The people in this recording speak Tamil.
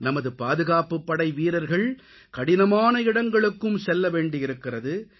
நமது பாதுகாப்புப் படை வீரர்கள் கடினமான இடங்களுக்கும் செல்லவேண்டியிருக்கிறது